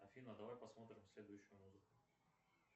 афина давай посмотрим следующую музыку